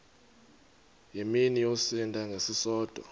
mini yosinda ngesisodwa